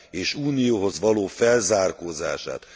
és Unióhoz való felzárkózását.